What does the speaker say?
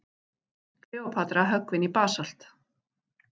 Kleópatra höggvin í basalt.